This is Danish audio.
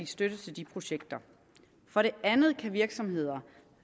støtte til de projekter for det andet kan virksomheder